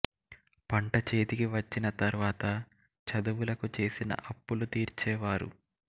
పంటచేతికి వచ్చిన తర్వాత చదువులకు చేసిన అప్పులు తీర్చే వారు